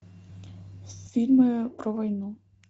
фильмы про войну